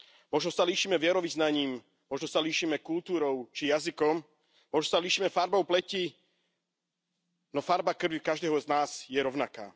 Možno sa líšime vierovyznaním, možno sa líšime kultúrou, či jazykom, možno sa líšime farbou pleti, no farba krvi každého z nás je rovnaká.